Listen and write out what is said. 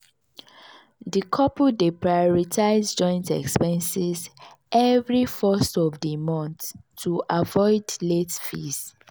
di couple dey prioritize joint expenses every 1st of di mont to avoid late fees.